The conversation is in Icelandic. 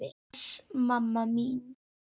Bless mamma mín.